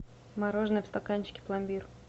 мороженое в стаканчике пломбир